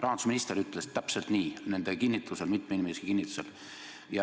Rahandusminister ütles mitme inimese kinnitusel täpselt nii.